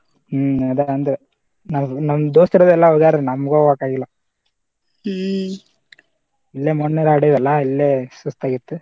ಹ್ಮ್‌ ಅದ ಅಂದ್ರ ನಮ ದೋಸ್ತ್ರದು ಹೋಗ್ಯಾರ ಅಲ್ಲಿ ನಮ್ಗ ಹೋಗಾಕ ಆಗಿಲ್ಲಾ ಇಲ್ಲೇ ಮನ್ನಿದು ಆಡಿವ ಅಲ್ಲಾ ಇಲ್ಲೇ ಸುಸ್ತ ಆಗಿತ್ತು.